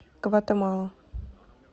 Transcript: гватемала